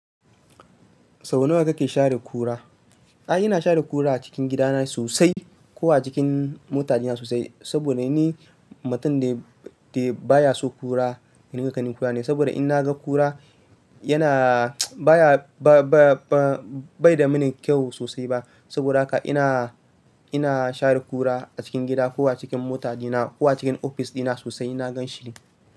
Sau nawa kake share kura? Ai ina share ƙura a cikin gida na sosai, ko a cikin mota ɗina sosai. Saboda ni mutum ne da baya so ƙura, ni gani kani kura ne. Saboda in naga kura yana baya, ba, ba, ba, bai da mini kyau sosai ba. Saboda haka ina, ina share ƙura a cikin gida ko a cikin motaci na ko a cikin ofis dina sosai ina gan shi.